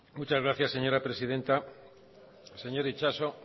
muchas gracias señora presidenta señor itxaso